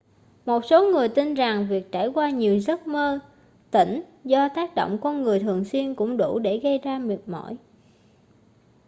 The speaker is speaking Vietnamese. một số người tin rằng việc trải qua nhiều giấc mơ tỉnh do tác động con người thường xuyên cũng đủ để gây ra mệt mỏi